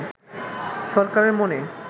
সরকারের মনে